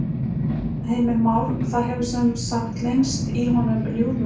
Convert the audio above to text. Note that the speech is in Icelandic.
Heimir Már: Það hefur sem sagt leynst í honum ljúfmenni?